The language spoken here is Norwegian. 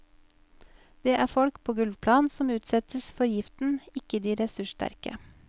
Det er folk på gulvplan som utsettes for giften, ikke de ressurssterke.